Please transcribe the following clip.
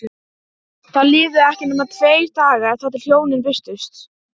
Verður þá að afgreiða ágreininginn með atkvæðagreiðslu.